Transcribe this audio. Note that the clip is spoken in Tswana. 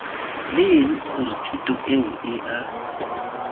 leng gore thuto eo ea